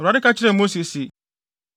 Awurade ka kyerɛɛ Mose se,